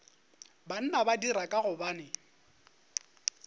banna ba dira ka gobane